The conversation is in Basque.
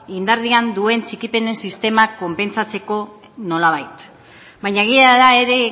indarrean duen atxikipenen sistema konpentsatzeko nolabait baina egia da ere